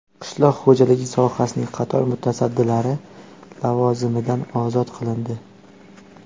Qishloq xo‘jaligi sohasining qator mutasaddilari lavozimidan ozod qilindi.